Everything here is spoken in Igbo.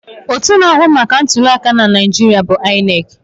Otú na-ahụ maka ntuli aka na Naijiria bụ INEC.